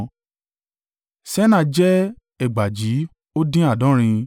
Senaa jẹ́ ẹgbàajì ó dín àádọ́rin (3,930).